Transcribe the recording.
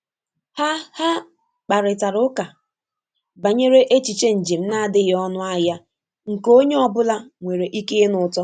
Ha Ha kparịtara ụka banyere echiche njem na-adịghị ọnụ ahịa nke onye ọ bụla nwere ike ịnụ ụtọ